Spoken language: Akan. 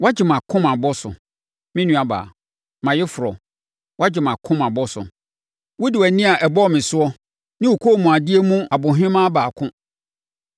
Woagye mʼakoma abɔ so, me nuabaa, mʼayeforɔ; woagye mʼakoma abɔ so wode wʼani a ɛbɔɔ me soɔ, ne wo kɔnmuadeɛ mu ɔbohemaa baako.